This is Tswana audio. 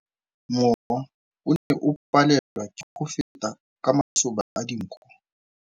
Mowa o ne o palelwa ke go feta ka masoba a dinko.